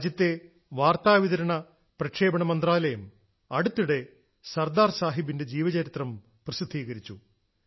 രാജ്യത്തെ വാർത്താ വിതരണ പ്രക്ഷേപണ മന്ത്രാലയം അടുത്തിടെ സർദാർ സാഹിബിന്റെ ജീവചരിത്രം പ്രസിദ്ധീകരിച്ചു